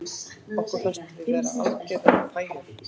Okkur fannst við vera algerar pæjur